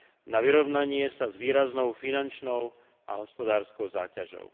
na vyrovnanie sa s výraznou finančnou a hospodárskou záťažou.